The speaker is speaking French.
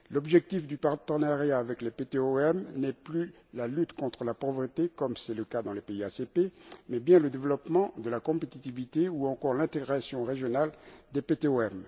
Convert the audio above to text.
L'objectif du partenariat avec les PTOM n'est plus la lutte contre la pauvreté, comme c'est le cas dans les pays ACP, mais bien le développement de la compétitivité, ou encore l'intégration régionale des PTOM.